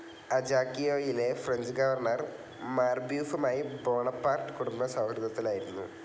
അജാക്കിയോയിലെ French governor മാർബ്യൂഫുമായി Bonaparte കുടുംബം സൗഹൃദത്തിലായിരുന്നു.